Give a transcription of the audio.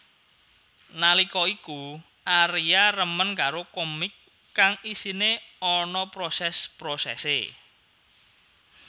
Nallika iku Aria remen karo komik kang isiné ana proses prosesé